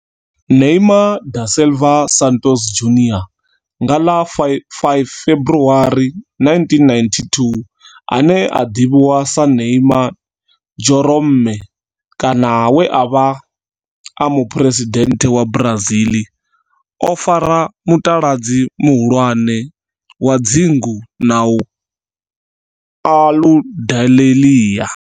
Neymar da Silva Santos Junior nga ḽa 5 February 1992, ane a ḓivhiwa sa Neymar Jeromme kana we a vha e muphuresidennde wa Brazil o fara mutaladzi muhulwane wa dzingu na Aludalelia.